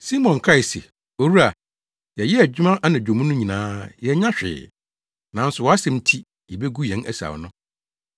Simon kae se, “Owura, yɛyɛɛ adwuma anadwo mu no nyinaa yɛannya hwee, nanso wʼasɛm nti, yebegu yɛn asau no.”